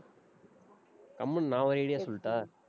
கம்முனு நான் ஒரு idea சொல்லட்டா?